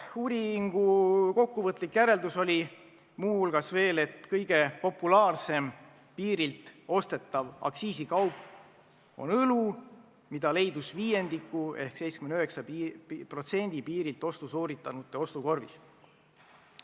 Uuringu kokkuvõtlik järeldus oli veel, et kõige populaarsem piirilt ostetav aktsiisikaup on õlu, mis oli 79% ostjate ostukorvis.